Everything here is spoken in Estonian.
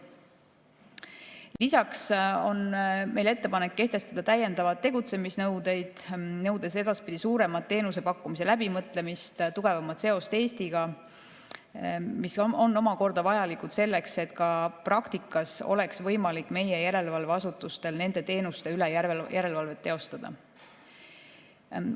Lisaks on meil ettepanek kehtestada täiendavaid tegutsemisnõudeid, nõudes edaspidi suuremat teenusepakkumise läbimõtlemist ja tugevamat seost Eestiga, mis on vajalik selleks, et ka praktikas oleks võimalik meie järelevalveasutustel nende teenuste üle järelevalvet teostada.